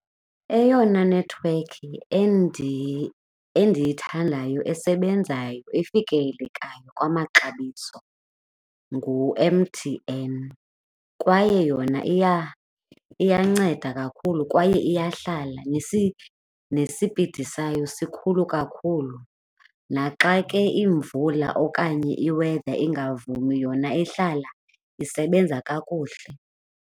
Eyona nethiwekhi endiyithandayo esebenzayo, efikelelekayo kwamaxabiso ngu-M_T_N kwaye yona iyanceda kakhulu kwaye iyahlala nesipidi sayo sikhulu kakhulu. Naxa ke imvula okanye i-weather ingavumi yona ihlala isebenza kakuhle.